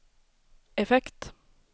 effekt